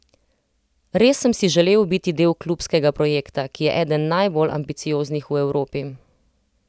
Res sem si želel biti del klubskega projekta, ki je eden najbolj ambicioznih v Evropi.